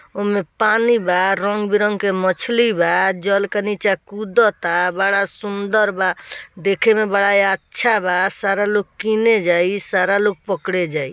ओय मे पानी बा रंग बिरंग के मछली बा जल के नीचा कूदाता बड़ा सुंदर बा देखें में बड़ा अच्छा बा सारा लोग कीने जाई सारा लोग पकड़े जाई।